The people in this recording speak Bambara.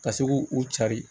Ka se k'u u cari